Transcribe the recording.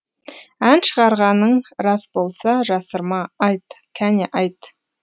ән шығарғаның рас болса жасырма айт кәне айт